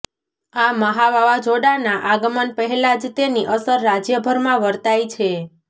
આ મહા વાવાઝોડાંના આગમન પહેલાં જ તેની અસર રાજયભરમાં વર્તાઇ છે